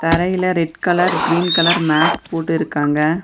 தரைல red colour green colour mat போட்டுருக்காங்க.